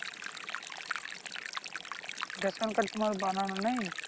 ration card তুমার বানানো নেই